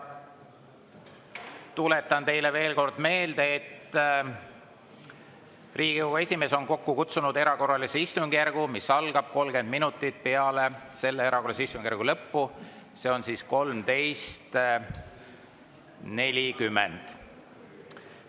Tuletan teile veel kord meelde, et Riigikogu esimees on kokku kutsunud erakorralise istungjärgu, mis algab 30 minutit peale selle erakorralise istungjärgu lõppu, see on siis 13.40.